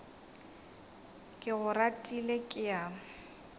ke go ratile ke a